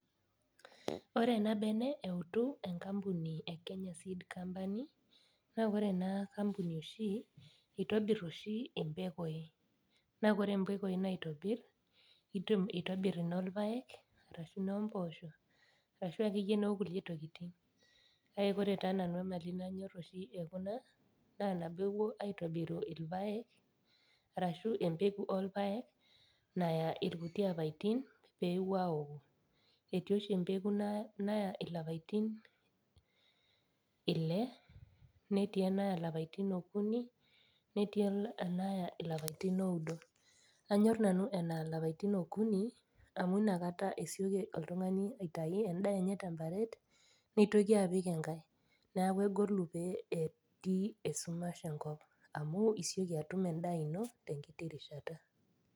Ore ena bene eutu enkampani e kenya seed company naa ore ena kampuni oshi eitobirr oshi impekui naa kore impekui naitobirr itobirr inolpayek ashu inomposho arashu akeyie nokulie tokiting kake kore taa nanu emali nanyorr oshi ekuna naa nabo ewuo aitobiru irpayek arashu empeku orpayek naya irkuti apaitin pepuo awoku etii oshi empeku naya ilapaitin ile netii enaya ilapaitin okuni netii enaya ilapaitin oudo anyorr nanu enaya ilapaitin okuni amu inakata esioki oltung'ani aitai endaa enye temparet nitoki apik enkae niaku egolu pee etii esumash enkop amu isioki atum endaa ino tenkiti rishata.